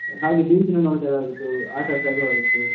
ಹಾಗೆ beach ನು ನೋಡ್ದಾಗೆ ಆಗುತ್ತು ಆಟ ಆಡ್ದಾಗು ಆಗುತ್ತು.